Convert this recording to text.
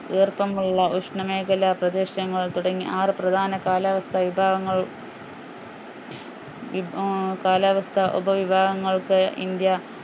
ഈർപ്പമുള്ള ഉഷ്ണമേഖല പ്രദേശങ്ങൾ തുടങ്ങി ആറ് പ്രധാന കാലാവസ്ഥ വിഭാഗങ്ങൾ ഏർ കാലാവസ്ഥ ഉപവിഭാഗങ്ങൾക്ക് ഇന്ത്യ